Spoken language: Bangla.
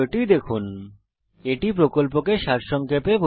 এটি স্পোকেন টিউটোরিয়াল প্রকল্পটি সারসংক্ষেপে বোঝায়